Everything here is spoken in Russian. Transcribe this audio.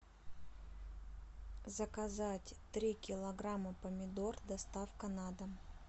заказать три килограмма помидор доставка на дом